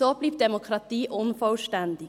So bleibt die Demokratie unvollständig.